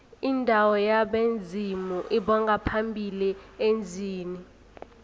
indawo yabezimu lbongaphambili emzini